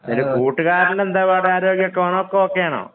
അതില് കൂട്ടുകാരനെന്താഒക്കെ ആണോ?